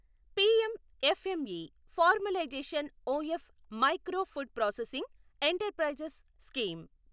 PM FME formalisation of micro food processing enterprises scheme